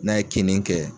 N'a ye kinni kɛ